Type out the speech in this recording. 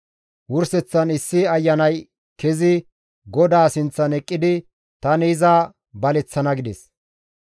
Wurseththan issi ayanay kezi GODAA sinththan eqqidi, ‹Tani iza baleththana› gides.